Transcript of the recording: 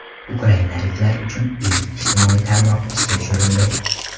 Ukrainaliklar uchun ilk ijtimoiy tarmoq ishga tushirildi.